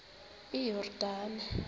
iyordane